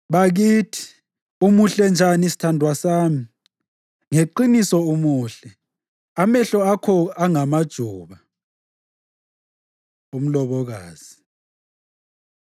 Bakithi, umuhle njani sithandwa sami! Ngeqiniso umuhle! Amehlo akho angamajuba. Umlobokazi